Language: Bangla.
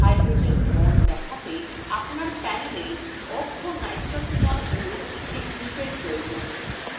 hydrogen বন্ধন দেখাতে আপনার panela orthonitrophenol অণুর একটি গ্রুপের প্রয়োজন